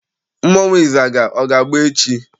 Mmọnwụ ịzaga, ọ ga-agba echi?